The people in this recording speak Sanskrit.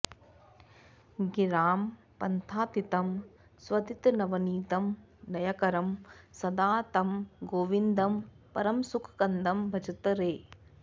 गिरां पन्थातीतं स्वदितनवनीतं नयकरं सदा तं गोविन्दं परमसुखकन्दं भजत रे